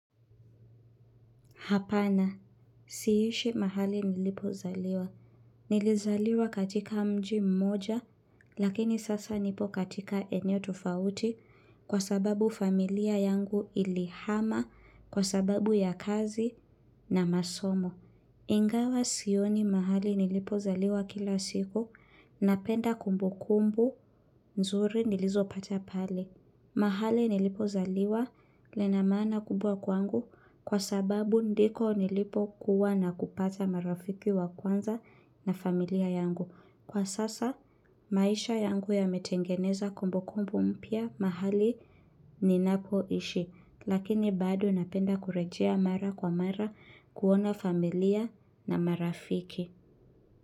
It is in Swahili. Hapana, siishi mahali nilipozaliwa. Nilizaliwa katika mji mmoja, lakini sasa nipo katika eneo tufauti kwa sababu familia yangu ilihama kwa sababu ya kazi na masomo. Ingawa sioni mahali nilipozaliwa kila siku, napenda kumbukumbu, nzuri nilizopata pale. Mahali nilipozaliwa lina maana kubwa kwangu kwa sababu ndiko nilipokuwa na kupata marafiki wa kwanza na familia yangu. Kwa sasa, maisha yangu yametengeneza kumbukumbu mpya mahali ninapoishi, lakini bado napenda kurejea mara kwa mara kuona familia na marafiki.